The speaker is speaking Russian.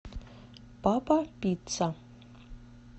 папа пицца